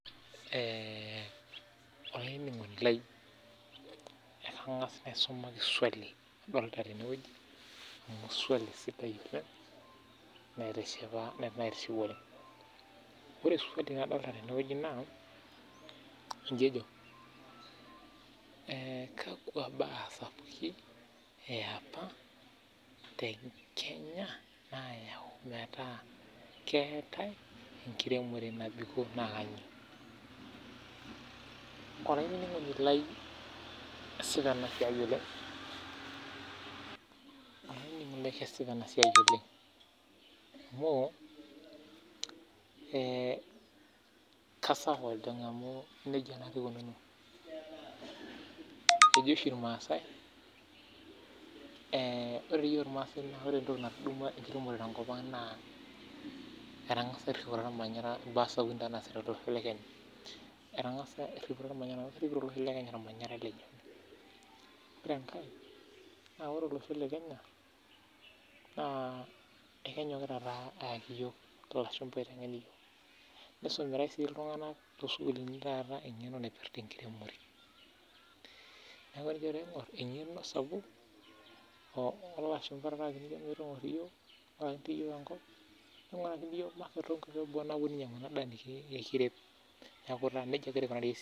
Kesipa ena siai oleng amu kasawa naa amu nija ikunuuno ejo oshi ilmaasai eeh naa imbaa sapuki naasita tolosho le Kenya Erhipito olosho olmanyara lenye naa ore olosho le Kenya naa kenyokita aayaki iyiok ilashumba lotengen iyiok Ore sii iltunganak loosukulini na keipirha enkiremore neaku ore piijo aingur naaengeno sapuk naa